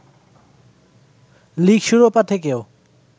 league শিরোপা থেকেও